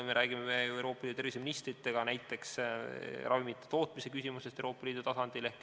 Me räägime Euroopa Liidu terviseministritega näiteks ravimite tootmise küsimusest Euroopa Liidu tasandil.